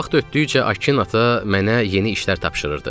Vaxt ötdükcə Akin ata mənə yeni işlər tapşırırdı.